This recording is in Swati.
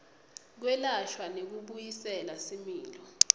kwelashwa nekubuyisela similo